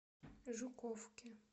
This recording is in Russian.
жуковке